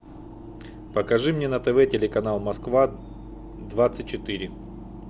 покажи мне на тв телеканал москва двадцать четыре